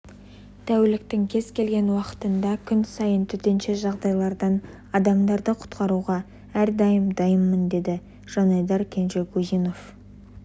тәуліктің кез келген уақытында күн сайын төтенше жағдайлардан адамдарды құтқаруға әрдайым дайынмын деді жанайдар кенжегузинов